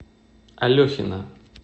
алехина